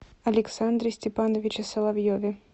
александре степановиче соловьеве